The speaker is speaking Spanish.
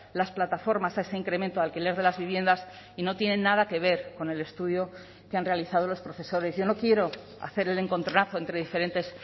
las plataformas a ese incremento de alquiler de las viviendas y no tienen nada que ver con el estudio que han realizado los profesores yo no quiero hacer el encontronazo entre diferentes